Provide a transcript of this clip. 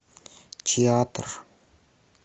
театр